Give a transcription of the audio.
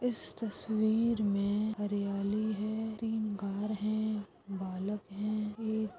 इस तस्वीर मैं हरियाली है तीन घर है बालक है एक--